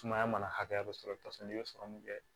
Sumaya mana hakɛ dɔ sɔrɔ i bɛ t'a sɔrɔ i bɛ sɔrɔ min kɛ